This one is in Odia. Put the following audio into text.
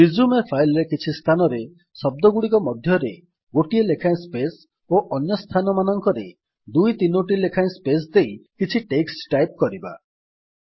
ରିଜ୍ୟୁମେ ଫାଇଲ୍ ର କିଛି ସ୍ଥାନରେ ଶବ୍ଦଗୁଡିକ ମଧ୍ୟରେ ଗୋଟିଏ ଲେଖାଏଁ ସ୍ପେସ୍ ଓ ଅନ୍ୟ ସ୍ଥାନମାନଙ୍କରେ ଦୁଇ ତିନୋଟି ଲେଖାଏଁ ସ୍ପେସ୍ ଦେଇ କିଛି ଟେକ୍ସଟ୍ ଟାଇପ୍ କରିବା